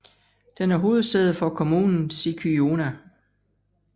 Den er hovedsæde for kommunen Sikyona